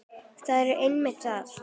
Það er einmitt það!